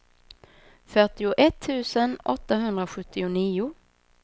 fyrtioett tusen åttahundrasjuttionio